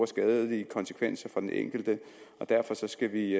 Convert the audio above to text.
skadelige konsekvenser for den enkelte og derfor skal vi